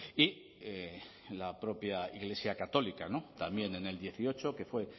y la propia iglesia católica también en el dieciocho que fue